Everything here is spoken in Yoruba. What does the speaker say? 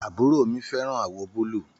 Àbúró mi féràn àwò búlù